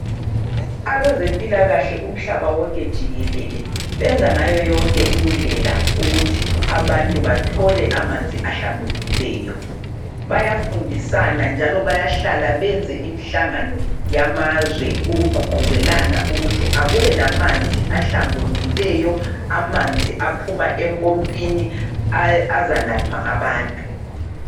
Abezempilakahle umhlaba wonke jikelele benza ngayo yonke indlela ukuthi abantu bathole amanzi ahlambulukileyo. Bayafundisana njalo bayahlala benze imihlangano yamazwe ukugqugquzelana ukuthi akube lamanzi ahlambulukileyo, amanzi aphuma empompini azanathwa ngabantu.